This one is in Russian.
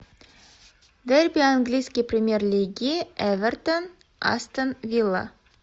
дерби английской премьер лиги эвертон астон вилла